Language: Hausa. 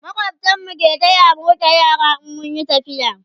makwabtan mu ke taya mu rike yara in mun Yi tafiya